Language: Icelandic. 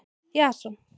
Jason